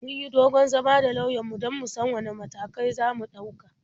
Mun yi dogon zama da lauyanmu don mu san wane matakan za mu ɗauka.